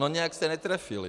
No nějak se netrefili.